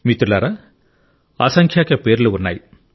మిత్రులారా అసంఖ్యాక పేర్లు ఉన్నాయి